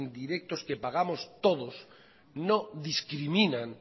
indirectos que pagamos todos no discriminan